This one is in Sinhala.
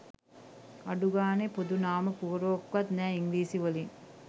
අඩු ගානේ පොදු නාම පුවරුවක්වත් නැ ඉංග්‍රිසී වලින්